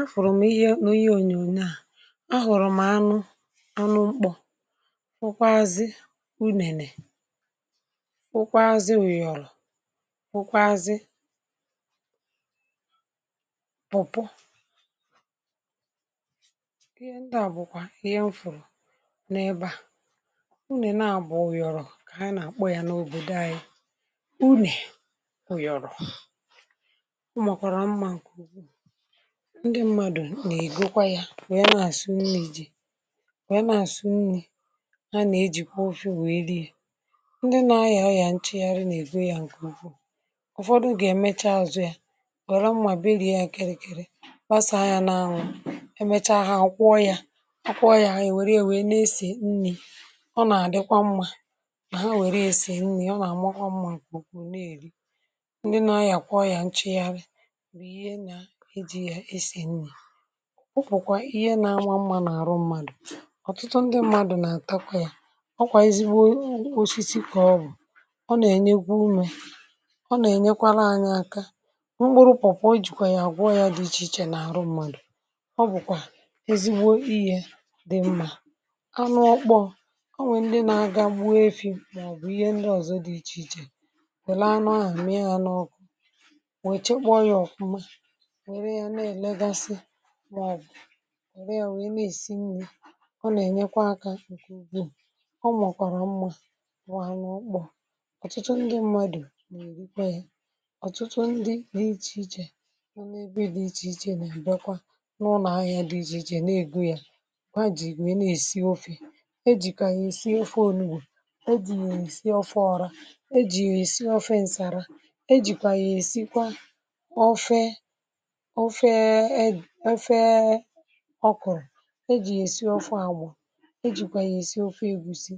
afụ̀rụ̀ m ihe n’ihe ònyònyo à, um ahụ̀rụ̀ m ánụ anụ mkpọ nkwáazị. U nene nkwáazị ònyònyo à, nkwáazị ọ̀bọ, ihe ndị à bụkwà ihe m fụ̀rụ̀ n’ebe à. Unè na bùo yọ̀rụ̀, kà ha nà-àkpọ yȧ n’òbòdo anyị. um Unè oyòrò, ndị mmadụ̀ nà-ègo kwa ya, wee nà-àsị nni̇ iji, wee nà-àsị nni̇ iji. Ha nà-ejìkwa ofi wèe riie. Ndị nȧ-ahịa ọyà nchịgharị nà-èfu ya ǹkè ukwu, ụ̀fọdụ gà-èmecha azụ̀ ya, wère mmà biri ya, kèrèkèrè, basàa anyȧ n’anwụ̇, emechaa ha akwọ ya, akwọọ yȧ. Ènwèrè ya nesè nni̇, ọ nà-àdịkwa mmȧ, ha wère esè nni̇, ọ nà-àmọghọ mmụ̀ ǹkè ukwu. Na-èri ndị nȧ-ahịa akwọ ya nchịgharị, ọ bụ̀kwà ihe nȧ-ànwa mmȧ n’àrụ mmadụ̀. Ọ̀tụtụ ndị mmadụ̀ nà-àtakwa yȧ, ọkwà ezigbo osisi kà ọ bụ̀, ọ nà-ènyekwa umė, ọ nà-ènyekwara anyȧ aka. Mkpụrụ pọ̀pụ̀ ojìkwà yȧ, àgwọọ yȧ dị iche iche nà-àrụ mmadụ̀. Ọ bụ̀kwà ezigbo iyė dị̇ mmȧ, anụ ọkpọ̇. O nwè ndị nȧ-agȧ mụọ efi̇ màọ̀bụ̀ ihe ndị ọ̀zọ dị iche iche, kwèle anụ ahà, mee hȧ n’ọkụ, bụ̀ ẹ̀rẹ wẹ̀. Ị nà-èsi nri̇, ọ nà-ènyekwa akȧ ụkwụ ugu̇. Ọ mọ̀kwàrà mmụ̇ nwà n’ukpù, ọ̀tụtụ ndị mmadụ̀ nà-èrikwa ihe, ọ̀tụtụ ndị n’ichè ichè. Ọ nà-ẹbẹ dị ichè ichè, nà ǹbẹkwa n’ụnọ̀ ahịhịa dị ichè ichè, nà-ègwu yȧ kwa jì. Nwẹ̀rẹ esi ofė e jìkà yȧ èsì ofe olugbù, e jì yà èsì ofe ọrȧ, e jì èsì ofe ǹsàrà, e jìkwà yà èsìkwà n’efee ọkụ̀rụ̀, e jì yà èsi ọfu àgbụ̀, e jìkwà yà èsi ọfu ègusi,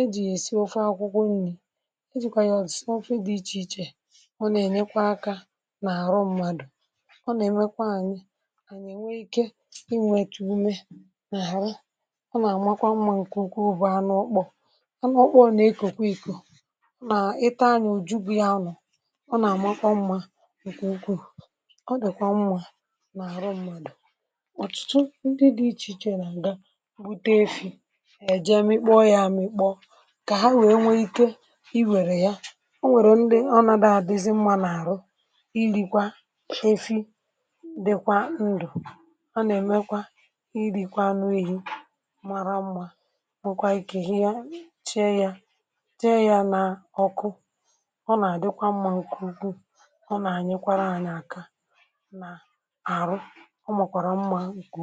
e jì yà èsi ọfu akwụkwọ nni̇, e jìkwà yà ọfu ọfu dị ichè ichè. um Ọ nà-ènyekwa akȧ n’àrụ mmadụ̀, ọ nà-èmekwa anyị ànyị, ẹ̀ nwẹ ike inwėtù ume n’àrụ, ọ nà-àmakwa mmȧ ǹkè ukwu. Ụ̀bụ̀ anụ ọkpọ, anụ ọkpọọ nà ị kòkwo ìko, nà ịta, anyị òjubu ya, anụ̇ ọ nà-àmakwa mmȧ ǹkè ukwuù. Ọ dị̀kwa mmȧ. um Òtùtù ndị dị iche iche nà-ǹga bute efi̇, èjem ikpọ ya amịkpọ, kà ha wèe nwee ike i wèrè ya. Ọ nwèrè ndị ọ nà-daadịzi mmȧ n’àrụ, ilikwa efi, dikwa ndụ̀, ọ nà-èmekwa ilikwa n’ihi mara mma, nwekwa ike, ihe chee ya, chee ya n’ọkụ. Ọ nàà dikwa mmȧ nkùkù, ọ nàà nyekwara ànyị aka, ọ màkwàrà mmȧ.